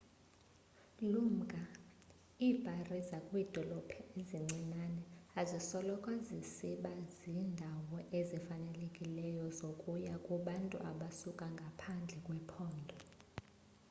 lumka iibhari zakwiidolophu ezincinane azisoloko zisiba ziindawo ezifanelekileyo zokuya kubantu abasuka ngaphandle kwephondo